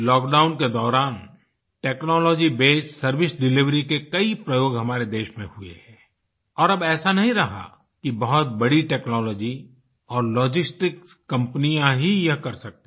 lock down के दौरान technology based service delivery के कई प्रयोग हमारे देश में हुए हैं और अब ऐसा नहीं रहा कि बहुत बड़ी टेक्नोलॉजी और लॉजिस्टिक्स कंपनीज ही यह कर सकती हैं